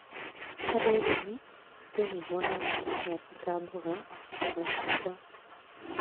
Harĩ ũrĩmi, andũ nĩ monaga maciaro ta mboga, matunda,